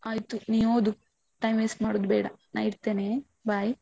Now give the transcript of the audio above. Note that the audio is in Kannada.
ಆಯ್ತು ನೀ ಓದು. time waste ಮಾಡುದು ಬೇಡ, ನಾ ಇಡ್ತೇನೆ bye.